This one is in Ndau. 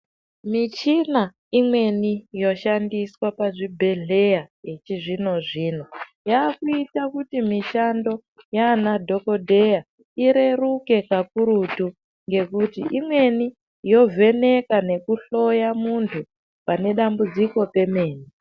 Michina imweni yoshandiswa pazvibhedhlera yechizvino zvino yakuita kuti mishando yemadhogodheya ireruke kakurutu ngekuti imweni yovheneka nekuhloya muntu pane dambudziko pemene.